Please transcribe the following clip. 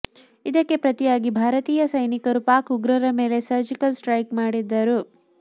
ಇದಕ್ಕೆ ಪ್ರತಿಯಾಗಿ ಭಾರತೀಯ ಸೈನಿಕರು ಪಾಕ್ ಉಗ್ರರ ಮೇಲೆ ಸರ್ಜಿಕಲ್ ಸ್ಟ್ರೈಕ್ ಮಾಡಿದ್ದರು